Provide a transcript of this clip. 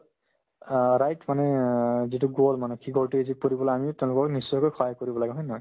অ, মানে অ যিটো মানে কি কই এইটো কৰিবলৈ আমিও তেওঁলোকক নিশ্চয়কৈ সহায় কৰিব লাগে হয় নে নহয়